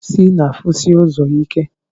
Pusi na afụsi ụzọ ike.